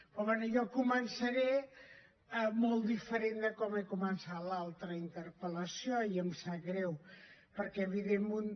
però bé jo començaré molt diferent de com he començat l’altra interpel·lació i em sap greu perquè evidentment